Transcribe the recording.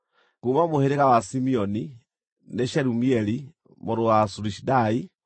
kuuma mũhĩrĩga wa Simeoni, nĩ Shelumieli mũrũ wa Zurishadai;